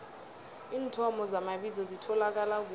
iinthomo zamabizo zitholakala kuphi